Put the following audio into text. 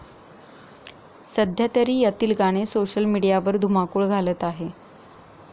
सध्यातरी यातील गाणे सोशल मिडीयावर धुमाकूळ घालत आहे.